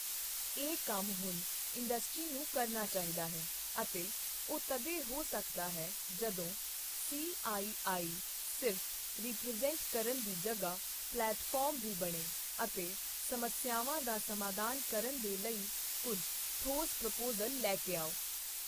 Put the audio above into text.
ਇਹ ਕੰਮ ਹੁਣ ਇੰਡਸਟ੍ਰੀ ਨੂੰ ਕਰਨਾ ਚਾਹੀਦਾ ਹੈ ਅਤੇ ਉਹ ਤਦੇ ਹੋ ਸਕਦਾ ਹੈ ਜਦੋਂ ਸੀਆਈਆਈ ਸਿਰਫ ਰਿਪ੍ਰਜ਼ੈਂਟ ਕਰਨ ਦੀ ਜਗ੍ਹਾ ਪਲੈਟਫਾਰਮ ਵੀ ਬਣੇ ਅਤੇ ਸਮੱਸਿਆਵਾਂ ਦਾ ਸਮਾਧਾਨ ਕਰਨ ਦੇ ਲਈ ਕੁਝ ਠੋਸ ਪ੍ਰਪੋਜ਼ਲ ਲੈ ਕੇ ਆਓ।